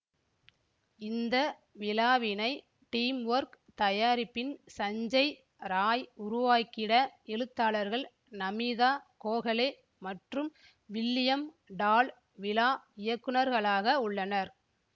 இந்த விழாவினை டீம்வொர்க் தயாரிப்பின் சஞ்சய் ராய் உருவாக்கிட எழுத்தாளர்கள் நமீதா கோகலே மற்றும் வில்லியம் டால் விழா இயக்குனர்களாக உள்ளனர்